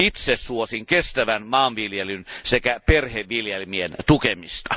Itse suosin kestävän maanviljelyn sekä perheviljelmien tukemista.